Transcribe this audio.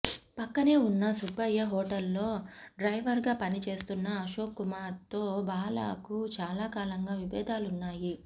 పక్కనే ఉన్న సుబ్బయ్య హోటల్లో డ్రైవర్గా పనిచేస్తున్న అశోక్కుమార్తో బాలాకు చాలా కాలంగా విభేధాలున్నాయి